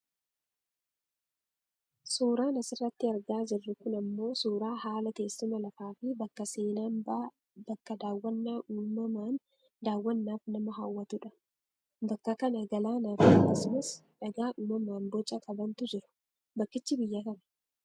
Suuraan asirratti argaa jirru kun ammoo suuraa haala teessuma lafaafi bakka seenambaa bakka daawwannaa uummamaan daawwannaaf nama hawaatudha. Bakka kana galaanaafi akkasumas dhagaa uummamaan boca qabantu jiru. Bakkichi biyya kami?